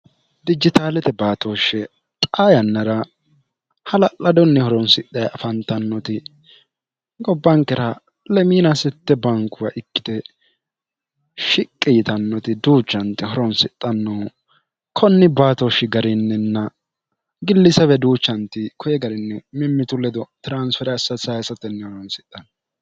dijitaalete baatooshshe xa yannara hala'ladonni horonsidhe afantannoti gobbankira lemiina sitte bankuwa ikkite shiqqi yitannoti duuchanti horonsixxannohu konni baatooshshi garinninna gillisa weduuchanti koye garinni mimmitu ledo tiransfere ass sayissatenni horonsixhannoo